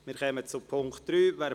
Wir kommen zum Punkt 3.